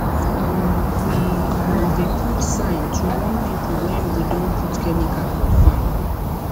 um we um dey put sign to warn people when we don put chemical for farm